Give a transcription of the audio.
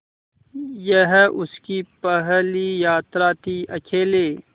यह उसकी पहली यात्रा थीअकेले